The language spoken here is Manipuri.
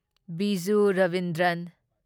ꯕꯤꯖꯨ ꯔꯕꯤꯟꯗ꯭ꯔꯟ